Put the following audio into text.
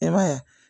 I b'a ye